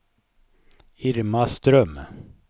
Irma Ström